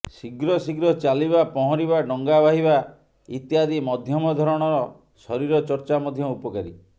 ଶୀଘ୍ର ଶୀଘ୍ର ଚାଲିବା ପହଁରିବା ଡଙ୍ଗା ବାହିବା ଇତ୍ୟାଦି ମଧ୍ୟମ ଧରଣର ଶରୀର ଚର୍ଚ୍ଚା ମଧ୍ୟ ଉପକାରୀ